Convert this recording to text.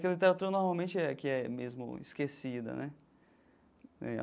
Que a literatura normalmente é a que é mesmo esquecida, né?